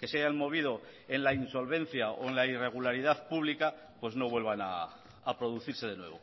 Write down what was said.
que se hayan movido en la insolvencia o en la irregularidad pública pues no vuelvan a producirse de nuevo